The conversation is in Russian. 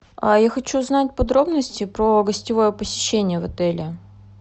я хочу узнать подробности про гостевое посещение в отеле